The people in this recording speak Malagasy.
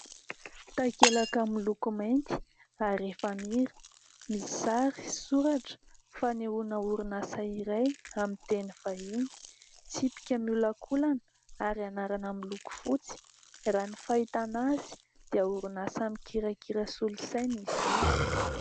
Takelaka miloko mainty ary efamira. Misy sary sy soratra fanehoana orinasa iray amin'ny teny vahiny. Tsipika miolakolana ary anarana miloko fotsy, raha ny fahitàna azy dia orinasa mikirakira solosaina izy io.